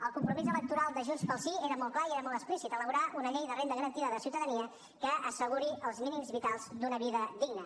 el compromís electoral de junts pel sí era molt clar i era molt explícit elaborar una llei de renda garantida de ciutadania que asseguri els mínims vitals d’una vida digna